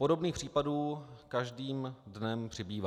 Podobných případů každým dnem přibývá.